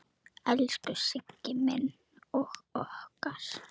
Elsku Siggi minn og okkar.